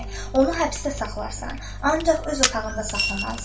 Onu həbsdə saxlarasan, ancaq öz otağında saxlamalısan.